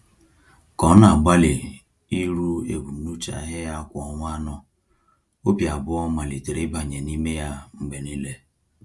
Ka ọ na-agbalị iru ebumnuche ahịa ya kwa ọnwa anọ, obi abụọ malitere ịbanye n’ime ya mgbe niile.